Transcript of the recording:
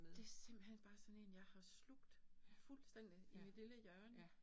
Det simpelthen bare sådan én jeg har slugt fuldstændig i mit lille hjørne